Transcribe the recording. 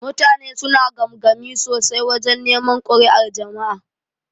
Mutane suna gamgami sosai wajan neman kuri'ar jama'a.